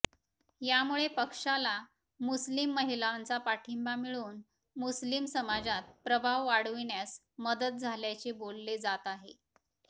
यामुळे पक्षाला मुस्लीम महिलांचा पाठिंबा मिळवून मुस्लीम समाजात प्रभाव वाढविण्यास मदत झाल्याचे बोलले जात आहे